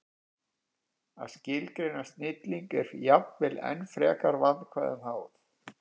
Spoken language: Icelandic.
Að skilgreina snilling er jafnvel enn frekar vandkvæðum háð.